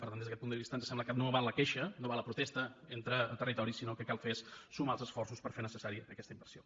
per tant des d’aquest punt de vista ens sembla que no val la queixa no val la protesta entre territoris sinó que el que cal fer és sumar els esforços per fer necessària aquesta inversió